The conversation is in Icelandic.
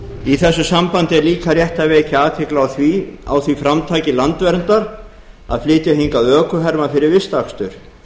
í þessu sambandi er líka rétt að vekja athygli á því framtaki landverndar að flytja hingað ökuherma fyrir vistakstur